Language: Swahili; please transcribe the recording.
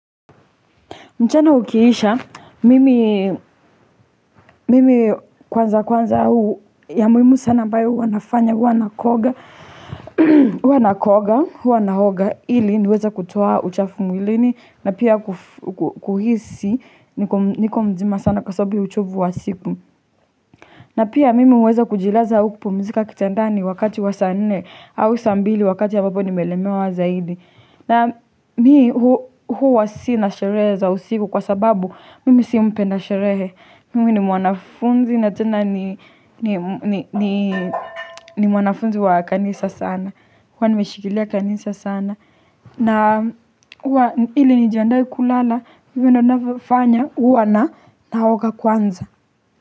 Mchana ukiisha, mimi kwanza kwanza huu ya muhimu sana ambayo huwa nafanya huwa huwa nakoga, huwa naoga ili niweze kutoa uchafu mwilini na pia kuhisi niko mzima sana kwa sababu ya uchovu wa siku. Na pia mimi huweza kujilaza au kupumzika kitandani wakati wa saa nne au saa mbili wakati ambapo nimelemewa zaidi. Na mi huwa sinasherehe za usiku kwa sababu mimi si mpenda sherehe. Mimi ni mwanafunzi na tena ni mwanafunzi wa kanisa sana. Kwani nimeshikilia kanisa sana. Na hili nijandai kulana, mime nafanya huwa na naoka kwanza.